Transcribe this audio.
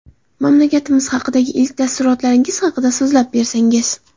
Mamlakatimiz haqidagi ilk taassurotlaringiz haqida so‘zlab bersangiz.